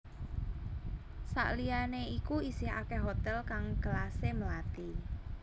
Sakliyane iku isih akeh hotel kang kelase melati